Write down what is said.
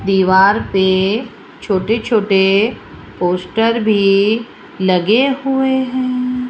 दीवार पे छोटे छोटे पोस्टर भी लगे हुए हैं।